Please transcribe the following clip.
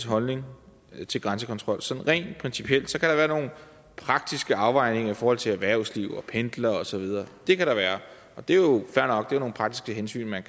holdning til grænsekontrol sådan rent principielt så kan der være nogle praktiske afvejninger i forhold til erhvervsliv og pendlere og så videre det kan der være og det er jo fair nok det er jo nogle praktiske hensyn man